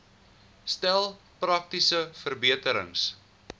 stel praktiese verbeterings